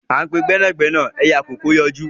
À ń pe gbẹ́nàgbẹ́nà ẹyẹ àkókó ń yọjú